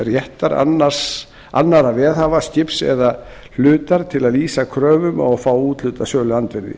réttar annarra veðhafa skips eða hlutar til að lýsa kröfum og fá úthlutað söluandvirði